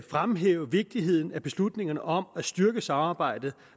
fremhæve vigtigheden af beslutningerne om at styrke samarbejdet